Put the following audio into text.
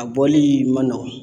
A bɔli ma nɔgɔn